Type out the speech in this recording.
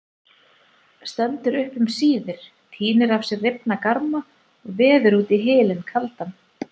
Stendur upp um síðir, tínir af sér rifna garma og veður út í hylinn kaldan.